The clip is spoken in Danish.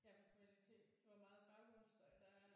Ja på kvalitet hvor meget baggrundsstøj der er